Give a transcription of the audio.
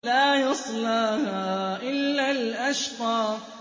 لَا يَصْلَاهَا إِلَّا الْأَشْقَى